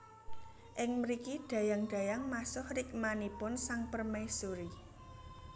Ing mriki dayang dayang masuh rikmanipun sang permaisuri